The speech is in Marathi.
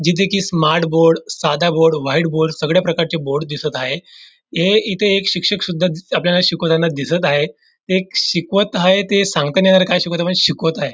जिथे की स्मार्ट बोर्ड साधा बोर्ड व्हाइट बोर्ड सगळ्या प्रकारचे बोर्ड दिसत आहे हे इथे एक शिक्षक सुद्धा दि आपल्याला शिकवताना दिसत आहे ते शिकवत आहेत हे सांगता नाही येणार काय शिकवत आहे पण शिकवत आहे.